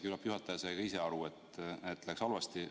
Küllap juhataja sai ka ise aru, et läks halvasti.